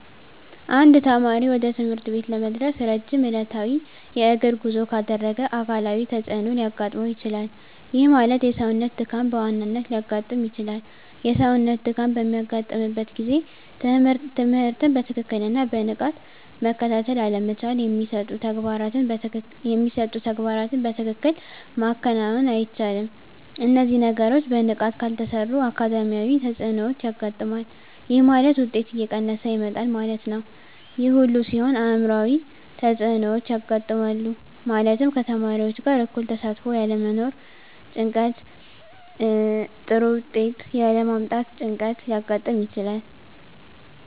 አንድ ተማሪ ወደ ትምህርት ቤት ለመድረስ ረጅም ዕለታዊ የእግር ጉዞ ካደረገ አካላዊ ተፅዕኖ ሊያጋጥመው ይችላል። ይህ ማለት የሰውነት ድካም በዋናነት ሊያጋጥም ይችላል። የሰውነት ድካም በሚያጋጥምበት ጊዜ ትምህርትን በትክክልና በንቃት መከታተል አለመቻል የሚሰጡ ተግባራትን በትክክል ማከናወን አይቻልም። እነዚህ ነገሮች በንቃት ካልተሰሩ አካዳሚያዊ ተፅዕኖዎች ያጋጥማል። ይህ ማለት ውጤት እየቀነሰ ይመጣል ማለት ነው። ይህ ሁሉ ሲሆን አዕምሯዊ ተፅዕኖዎች ያጋጥማሉ። ማለትም ከተማሪዎች ጋር እኩል ተሳትፎ ያለመኖር ጭንቀት ጥሩ ውጤት ያለ ማምጣት ጭንቀት ሊያጋጥም ይችላል።